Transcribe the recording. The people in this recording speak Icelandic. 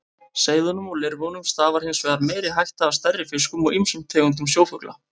Seiðunum og lirfunum stafar hins vegar meiri hætta af stærri fiskum og ýmsum tegundum sjófugla.